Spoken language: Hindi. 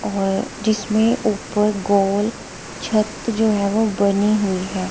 और जिसमें ऊपर गोल छत जो है वो बनी हुई है।